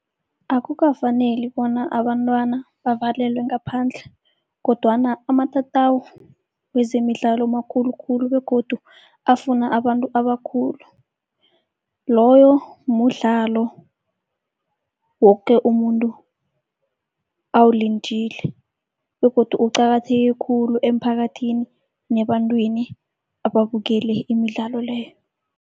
Akukafaneli bona abantwana bavalelwe ngaphandle, kodwana amatatawu wezemidlalo makhulu khulu begodu afuna abantu abakhulu. Loyo mudlalo woke umuntu awulindile begodu uqakatheke khulu emphakathini nebantwini ababukele imidlalo leyo.